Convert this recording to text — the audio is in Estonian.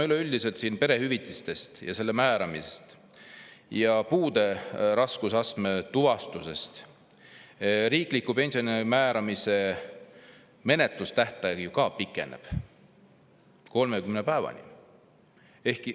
Kui me räägime siin perehüvitiste määramisest, puude raskusastme tuvastamisest ja riikliku pensioni määramisest, siis nende menetluse tähtaeg pikeneb 30 päevani.